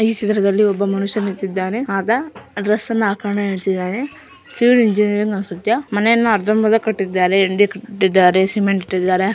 ಈ ಚಿತ್ರದಲ್ಲಿ ಒಬ್ಬ ಮನುಷ್ಯ ನಿಂತಿದ್ದಾನೆ ಆತ ಡ್ರೆಸ್ ಯನ್ನ ಹಾಂಕೊಂಡು ನಿಂತಿದ್ದಾನೆ ಸಿವಿಲ್ ಇಂಜಿನಿಯರಿಂಗ್ ಅನ್ಸುತ್ತೆ ಮನೇನ ಅರ್ದರ್ಮ್ ಬರ್ದ ಕಟ್ಟಿದ್ದಾರೆ ಸಿಮೆಂಟ್ ಇಟ್ಟಿದ್ದಾರೆ.